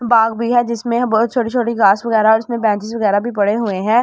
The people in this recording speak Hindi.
बाग भी है जिसमें बहुत छोटी छोटी घास वगैरा जिसमें बेंचेस वगैरा भी पड़े हुए है और।